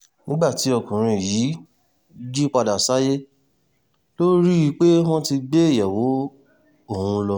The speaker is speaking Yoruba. nígbà tí ọkùnrin yìí jí padà sáyé ló rí i pé wọ́n ti gbé ìyàwó òun lọ